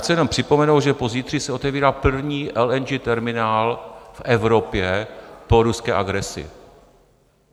Chci jenom připomenout, že pozítří se otevírá první LNG terminál v Evropě po ruské agresi.